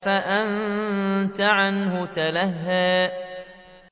فَأَنتَ عَنْهُ تَلَهَّىٰ